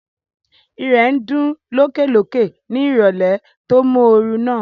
Ìrẹ̀ ń dún lókè lókè ní ìrọ̀lẹ́ tó móoru náà